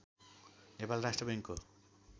नेपाल राष्ट्र बैङ्कको